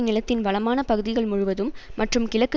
நிலத்தின் வளமான பகுதிகள் முழுவதும் மற்றும் கிழக்கு